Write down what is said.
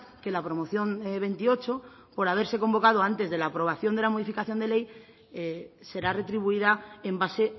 que la promoción veintiocho por haberse convocado antes de la aprobación de la modificación de ley será retribuida en base